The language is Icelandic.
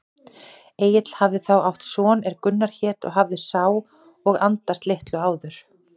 Egill hafði þá átt son er Gunnar hét og hafði sá og andast litlu áður.